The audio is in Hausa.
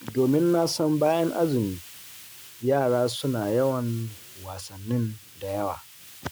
Domin na san bayan azumi, yara suna yawan wasannin da yawa.